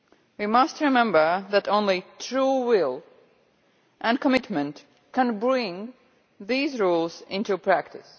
We must remember that only true will and commitment can bring these rules into practice.